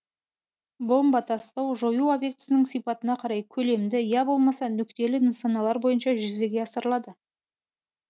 бомба тастау жою объектісінің сипатына қарай көлемді я болмаса нүктелі нысаналар бойынша жүзеге асырылады